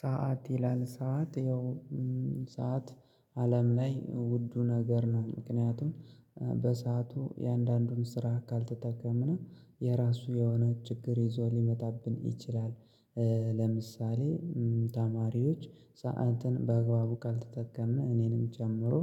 ሰዓት ይላል ሰዓት ያው ሰዓት አለም ላይ ውዱ ነገር ነው። ምክንያቱም በሰአቱ የአንዳንዱን ስራ ካልተጠቀምና የራሱ የሆነ ችግር ይዞ ሊመጣብን ይችላል። ለምሳሌ ተማሪዎች ሰዓትን በአግባቡ ካልተጠቀምን እኔንም ጨምሮ